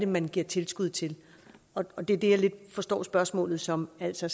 man giver tilskud til og det er det jeg lidt forstår spørgsmålet som altså